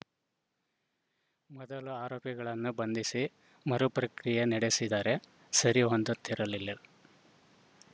ಮೊದಲು ಆರೋಪಿಗಳನ್ನು ಬಂಧಿಸಿ ಮರು ಪ್ರಕ್ರಿಯೆ ನಡೆಸಿದರೆ ಸರಿ ಹೊಂದುತ್ತಿರಲಿಲ್ಲ